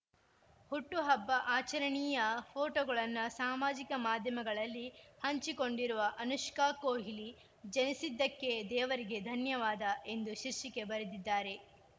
ಹುಟ್ಟುಹಬ್ಬ ಆಚರಣಿಯ ಫೋಟೋಗಳನ್ನು ಸಾಮಾಜಿಕ ಮಾಧ್ಯಮಗಳಲ್ಲಿ ಹಂಚಿಕೊಂಡಿರುವ ಅನುಷ್ಕಾ ಕೊಹ್ಲಿ ಜನಿಸಿದ್ದಕ್ಕೆ ದೇವರಿಗೆ ಧನ್ಯವಾದ ಎಂದು ಶೀರ್ಷಿಕೆ ಬರೆದಿದ್ದಾರೆ